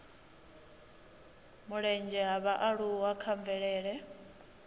mulenzhe ha vhaaluwa kha mvelele